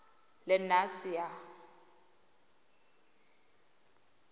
lenasia